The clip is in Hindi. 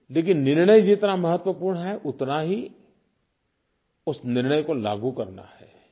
लेकिन निर्णय जितना महत्वपूर्ण है उतना ही उस निर्णय को लागू करना है